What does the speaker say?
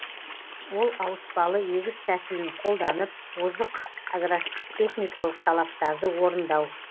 ол ауыспалы егіс тәсілін қолданып озық агротехникалық талаптарды орындау